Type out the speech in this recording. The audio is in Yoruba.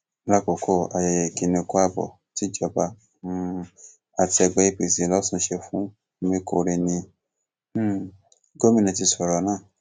lásìkò ayẹyẹ ìkíni kù ààbò tíjọba um àti ẹgbẹ apc losun ṣe fún omikórè ni um gómìnà ti sọrọ náà